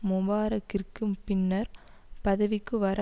முபாரக்கிற்கு பின்னர் பதவிக்கு வர